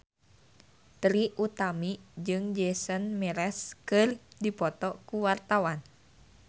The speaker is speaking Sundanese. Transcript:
Trie Utami jeung Jason Mraz keur dipoto ku wartawan